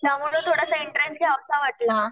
त्यामुळं थोडासा इंटरेस्ट घ्यावासा वाटला.